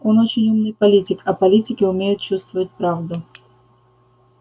он очень умный политик а политики умеют чувствовать правду